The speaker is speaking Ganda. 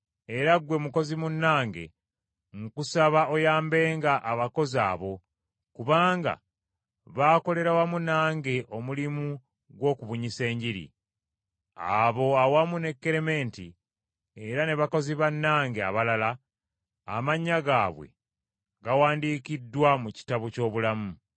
Era ggwe mukozi munnange, nkusaba oyambenga abakazi abo, kubanga baakolera wamu nange omulimu gw’okubunyisa Enjiri. Abo awamu ne Kerementi, era ne bakozi bannange abalala, amannya gaabwe gawandiikiddwa mu kitabo ky’obulamu.